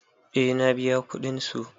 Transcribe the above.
Eh na biya kudin su.